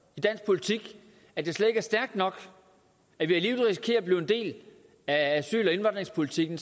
i dansk politik at jeg slet ikke er stærk nok og blive en del af asyl og indvandringspolitikken